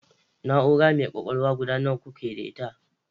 Na'ura mai kwakwalwa guda nawa kuke da ita?